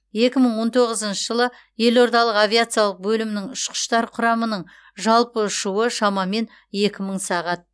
екі мың он тоғызыншы жылы елордалық авиациялық бөлімнің ұшқыштар құрамының жалпы ұшуы шамамен екі мың сағат